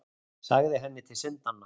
Sagði henni til syndanna.